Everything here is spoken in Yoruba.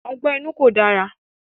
Ọgbẹ́ inú kò dára.